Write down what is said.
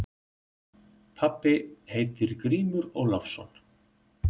Pabbi heitir Grímur Ólafsson.